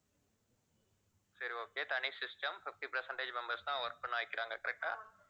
சரி okay தனி system fifty percentage members தான் work பண்ண வைக்கிறாங்க correct ஆ